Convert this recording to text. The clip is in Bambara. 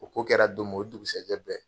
O ko kɛra don min o dugusajɛ bɛɛ.